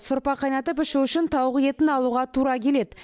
сорпа қайнатып ішу үшін тауық етін алуға тура келеді